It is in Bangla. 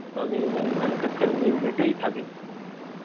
তা, আমি main manufacturing unit এই থাকি.